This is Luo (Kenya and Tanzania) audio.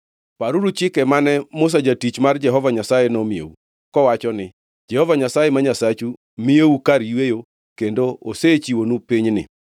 “Paruru chike mane Musa jatich mar Jehova Nyasaye nomiyou, kowacho ni: ‘Jehova Nyasaye ma Nyasachu miyou kar yweyo kendo osechiwonu pinyni.’